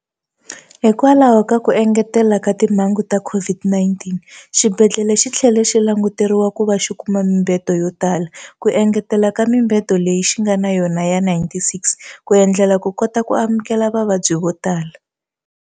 Hikwalaho ka ku engeteleka ka timhangu ta COVID-19, xibedhlele xi tlhela xi languteriwa ku va xi kuma mibedo yo tala, ku engetela eka mibedo leyi xi nga na yona ya 96 ku endlela ku kota ku amukela vavabyi vo tala.